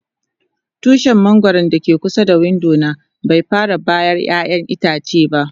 Tushin mangoro da ke kusa da window na bai fara bayar ƴayan itace ba.